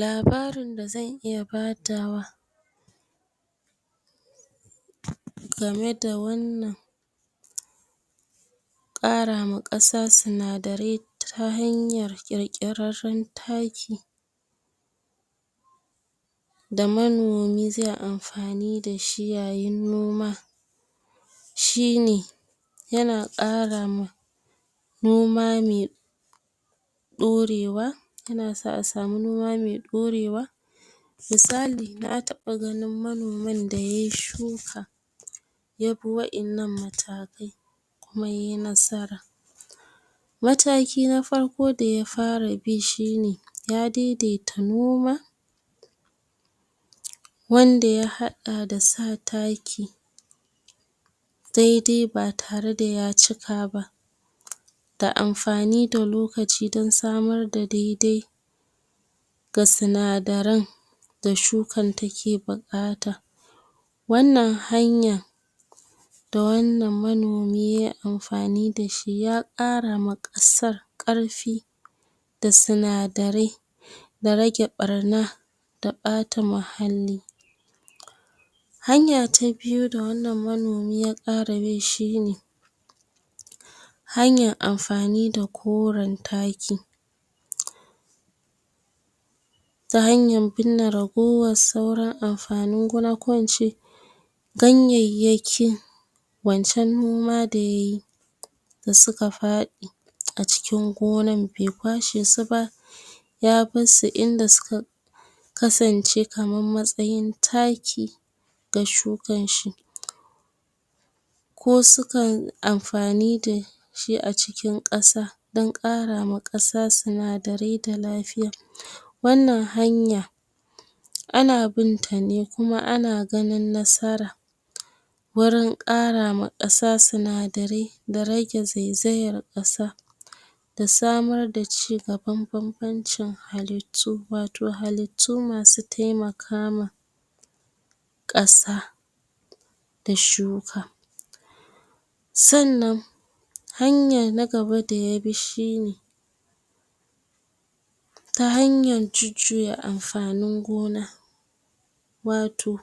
Labarin da zan iya badawa game da wannan ƙara ma ƙasa sinadarai ta hanyar ƙirƙirarren taki, da manomi zai amfani da shi yayin noma shine, yana ƙara ma noma me ɗorewa yina sa a samu noma me ɗorewa. Misali, na taɓa ganin manomin da yay shuk ya bi wa'innan matakan, kuma yay nasara. Mataki na farko da ya fara bi shine, ya daidaita noma wanda ya haɗa da sa taki da-dai ba tare da ya cika ba, da amfani da lokaci don samar da dai-dai ga sinadaran da shukan take buƙata. Wannan hanya da wannan manomi yay amfani dashi, ya ƙara ma ƙasar ƙarfi da sinadarai, da rage ɓarna, da ɓata mahalli. Hanya ta biyu da wannan manomi ya ƙara bi shine, hanyan amfani da koran taki, ta hanyan binne ragowar sauran amfanin gona, ko in ce ganyayyakin wancan noma da yayi, da suka faɗi a cikin gonan be kwashe su ba, ya bassu, inda suka kasance kaman matsayin taki ga shukan shi, ko su kai amfani da shi a cikin ƙasa, dan ƙara ma ƙasa sinadarai da lafiya. Wannan hanya, ana binta ne kuma ana ganin nasara, wurin ƙara ma ƙasa sinadarai da rage zaizayar ƙasa, da samar da cigaban bambancin halittu, wato halittu masu taimaka ma ƙasa da shuka. Sannan, hanya na gaba da yabi shine, ta hanyan jujjuya amfanin gona, wato